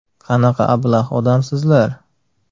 Qanaqa ablah odamsizlar?